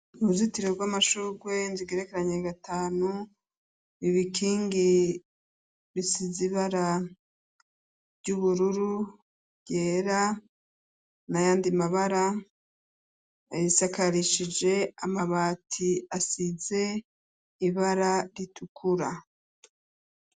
Uruzitiriro rw'amashurwe nzigerekeranye gatanu ibikingi bisizibara ry'ubururu ryera na yandi mabara abisakarishije amabati asize ibara ritukura.